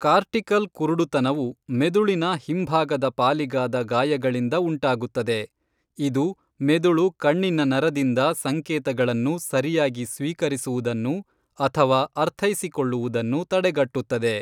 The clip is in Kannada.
ಕಾರ್ಟಿಕಲ್ ಕುರುಡುತನವು ಮೆದುಳಿನ ಹಿಂಭಾಗದ ಪಾಲಿಗಾದ ಗಾಯಗಳಿಂದ ಉಂಟಾಗುತ್ತದೆ, ಇದು ಮೆದುಳು ಕಣ್ಣಿನ ನರದಿಂದ ಸಂಕೇತಗಳನ್ನು ಸರಿಯಾಗಿ ಸ್ವೀಕರಿಸುವುದನ್ನು ಅಥವಾ ಅರ್ಥೈಸಿಕೊಳ್ಳುವುದನ್ನು ತಡೆಗಟ್ಟುತ್ತದೆ.